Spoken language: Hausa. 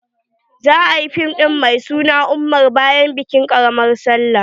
za'a yi fim din addini mai suna umar bayan bikin ƙaramar sallah.